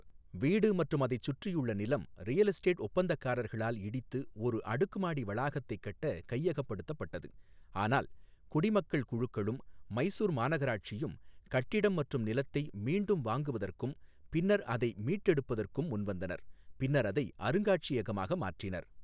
வீடு மற்றும் அதைச் சுற்றியுள்ள நிலம் ரியல் எஸ்டேட் ஒப்பந்தக்காரர்களால் இடித்து ஒரு அடுக்குமாடி வளாகத்தை கட்ட கையகப்படுத்தப்பட்டது, ஆனால் குடிமக்கள் குழுக்களும் மைசூர் மாநகராட்சியும் கட்டிடம் மற்றும் நிலத்தை மீண்டும் வாங்குவதற்கும் பின்னர் அதை மீட்டெடுப்பதற்கும் முன்வந்தனர், பின்னர் அதை அருங்காட்சியகமாக மாற்றினர்.